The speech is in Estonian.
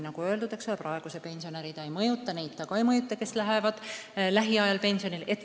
Nagu öeldud, praegusi pensionäre see ei mõjuta ja neid ka ei mõjuta, kes lähevad lähiajal pensionile.